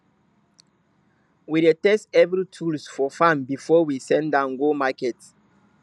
we dey test every tools for farm before we send am go market